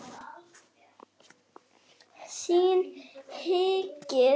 Þér hikið?